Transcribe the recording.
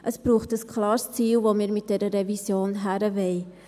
Es braucht ein klares Ziel, wohin wir mit dieser Revision gehen wollen.